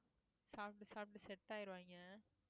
சாப்பிட்டு சாப்பிட்டு set ஆயிருவாயிங்க